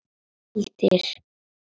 Eru dagar okkar taldir?